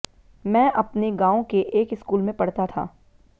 मैं अपने गांव के एक स्कूल में पढ़ता था